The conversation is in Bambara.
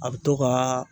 A bɛ to ka